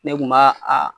Ne kun b'a a